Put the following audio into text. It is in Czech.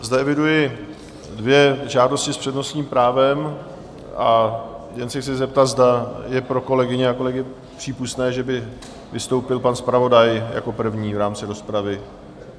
Zde eviduji dvě žádosti s přednostním právem, a jen se chci zeptat, zda je pro kolegyně a kolegy přípustné, že by vystoupil pan zpravodaj jako první v rámci rozpravy?